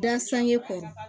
Da sange kɔrɔ